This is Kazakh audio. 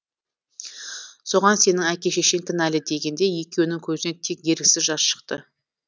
соған сенің әке шешең кінәлі дегенде екеуінің көзінен тек еріксіз жас шықты